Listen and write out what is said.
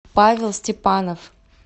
павел степанов